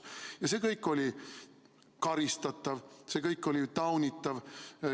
Ja see kõik oli karistatav, see kõik oli taunitav.